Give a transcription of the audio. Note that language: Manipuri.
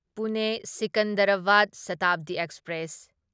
ꯄꯨꯅꯦ ꯁꯤꯀꯟꯗꯔꯥꯕꯥꯗ ꯁꯥꯇꯥꯕꯗꯤ ꯑꯦꯛꯁꯄ꯭ꯔꯦꯁ